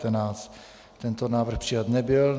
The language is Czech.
Tento návrh přijat nebyl.